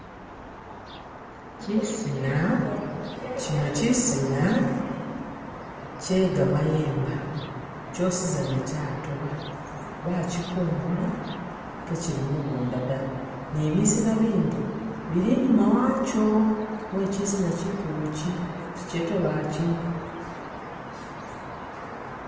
Kyino kyisinna kye gamayemba, kyosizana kyatoba bakyikungula kekyili mugunda da ni bisina binda bili inyuma wakyo wekyisina kyikulu kyi, ikyatoba kyi.